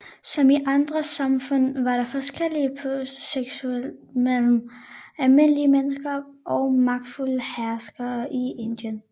Som i andre samfund var der forskel på seksuel praksis mellem almindelige mennesker og magtfulde herskere i Indien